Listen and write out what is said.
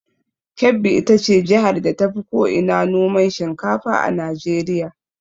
Kebbi ita ce jihar da tafi ko ina noman shinkafa a Najeriya.